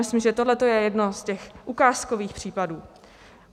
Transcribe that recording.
Myslím, že tohle je jeden z těch ukázkových případů.